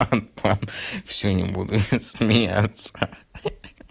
ладно ладно всё не буду смеяться ха-ха-ха